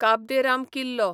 काब दे राम किल्लो